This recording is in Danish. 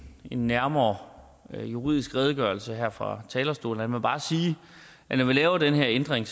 en nærmere juridisk redegørelse her fra talerstolen jeg må bare sige at når vi laver den her ændring